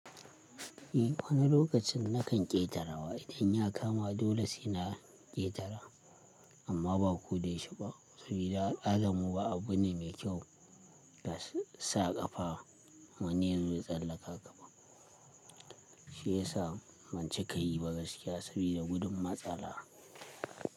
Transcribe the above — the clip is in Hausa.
Eh wani lokacin na kan ƙetara in ya kama dole sai na ƙetara amma ba ko dayau she ba sabida al'adarmu ba abu ne mai kyau ka sa ƙafa ma wani yazo ya tsallaka ƙafa. Shi ya sa ban cika yi ba gaskiya sabida gudun matsala.